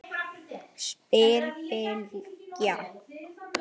spyr Bylgja.